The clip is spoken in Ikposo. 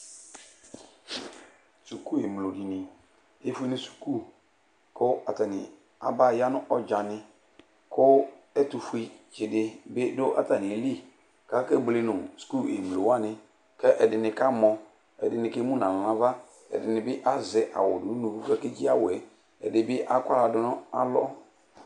Suku emlo dini Efue nu suku, ku atani aba ya nu ɔdzani ku ɛtu fue tsi di bi du atami lɩ k'ake buele nu sukuvɩ mlo wani k'ɛdini 'ka mɔ, ɛdini 'k'emu n'alɔ n'ava, ɛdini bi azɛ awu du'nuku kakedzi awuɛ, ɛdini akɔ aɣla du n'alɔ